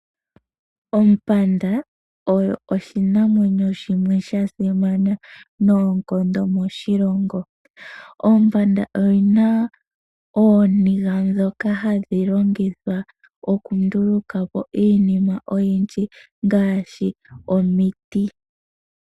Ompanda oyo oshinamwenyo shimwe sha simana noonkondo moshilongo. Ompanda oyi na ooniga ndhoka hadhi longithwa okunduluka po iinima oyindji ngaashi omiti.